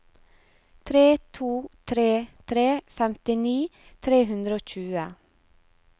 tre to tre tre femtini tre hundre og tjue